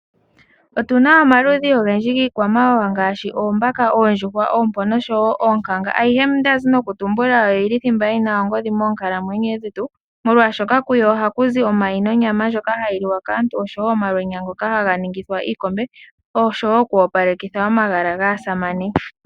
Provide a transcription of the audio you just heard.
Otuna omaludhi ogendji yiikwamawawa ngaashi oombaka, oondjuhwa, oompo nosho wo oonkanga. Ayihe mbyoka ndazi no kutumbula oyili thimba yina ongodhi moonkalamwenyo dhetu, molwaashoka kuyo ohaku zi omayi, nonyama ndjoka hayi liwa kaantu, oshowo omalwenya ngoka haga ningithwa iikombe, oshowo oku opalekitha omagala gaasamane.